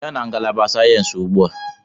Bịa na ngalaba sayensị ugbu a!